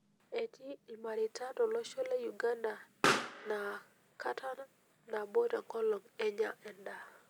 Etii ilmareita tolosho le Uganda naa kata nado tenkolong' enya endaa.